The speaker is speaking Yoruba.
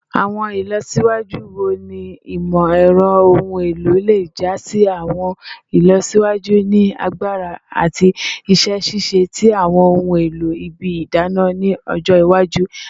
Awọn ilọsiwaju wo ni imọ-ẹrọ ohun elo le ja si awọn ilọsiwaju ni agbara ati iṣẹ ṣiṣe ti awọn ohun elo ibi idana ni ọjọ iwaju?